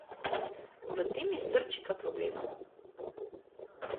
V tem je srčika problema.